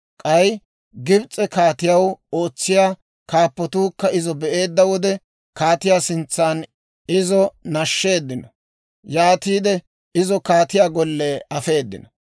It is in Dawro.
K'ay Gibis'e kaatiyaw ootsiyaa kaappatuukka izo be'eedda wode, kaatiyaa sintsan izo nashsheeddino; yaatiide izo kaatiyaa golle afeedino.